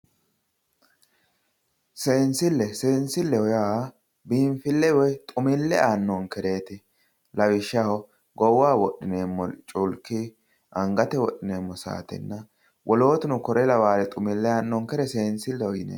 Seensille, seensilleho yaa biinfille woy xumille aannonkereeti. Lawishshaho goowaho wodhineemmore culki angate wodhineemmo saatenna wolootuno kore lawannore seensilleho yineemmo.